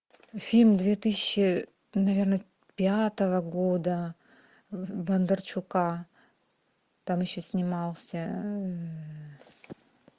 фильм две тысячи наверное пятого года бондарчука там еще снимался